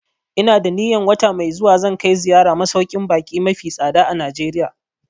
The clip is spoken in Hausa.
Ina da niyan wata mai zuwa zan kai ziyara masauƙin baƙi mafi tsada a Najeriya